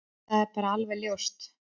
Það er bara alveg ljóst.